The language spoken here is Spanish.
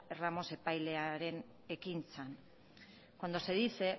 ramos epailearen ekintzan cuando se dice